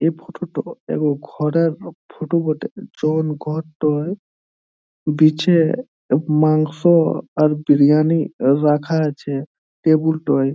এই ফটো -তো এক ঘরের ফটো বটে | যন ঘরটোয় বিচে মাংস আর বিরিয়ানি রাখা আছে টেবুল -টোয় ।